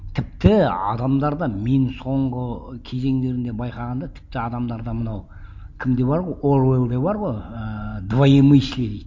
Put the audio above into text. тіпті адамдар да мен соңғы кезеңдерінде байқағанда тіпті адамдар да мынау кімде бар ғой оруэллде бар ғой ыыы двоемыслие дейді